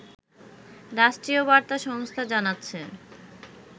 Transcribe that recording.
রাষ্ট্রীয় বার্তা সংস্থা জানাচ্ছে